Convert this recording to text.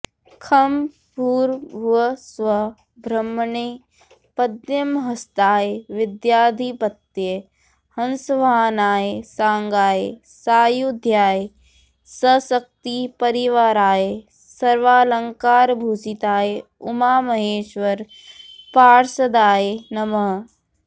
खं भूर्भुवस्सुवः ब्रह्मणे पद्महस्ताय विद्याधिपतये हंसवाहनाय सांगाय सायुधाय सशक्ति परिवाराय सर्वालंकारभूषिताय उमामहेश्वर पार्षदाय नमः